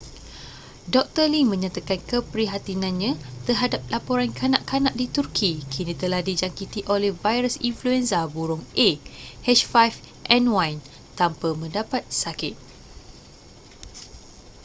doktor lee menyatakan keprihatinannya terhadap laporan kanak-kanak di turki kini telah dijangkiti oleh virus influenza burung a h5n1 tanpa mendapat sakit